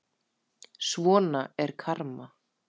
Svona er karma.